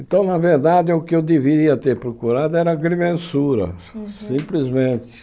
Então, na verdade, o que eu deveria ter procurado era agrimensura, simplesmente.